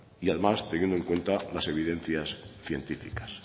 y además teniendo en cuenta las evidencia científicas